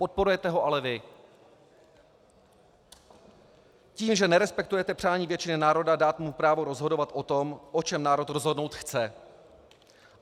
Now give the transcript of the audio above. Podporujete ho ale vy tím, že nerespektujete přání většiny národa dát mu právo rozhodovat o tom, o čem národ rozhodnout chce.